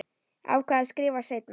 Ákvað að skrifa seinna.